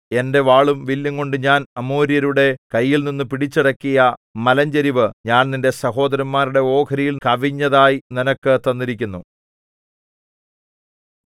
എന്റെ വാളും വില്ലുംകൊണ്ട് ഞാൻ അമോര്യരുടെ കൈയിൽനിന്നു പിടിച്ചടക്കിയ മലഞ്ചരിവ് ഞാൻ നിന്റെ സഹോദരന്മാരുടെ ഓഹരിയിൽ കവിഞ്ഞതായി നിനക്ക് തന്നിരിക്കുന്നു